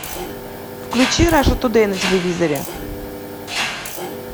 включи раша тудей на телевизоре